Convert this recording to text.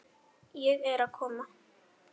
Ég er að koma.